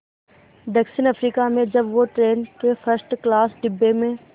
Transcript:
दक्षिण अफ्रीका में जब वो ट्रेन के फर्स्ट क्लास डिब्बे में